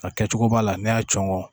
A kɛcogo b'a la ne y'a cɔŋɔ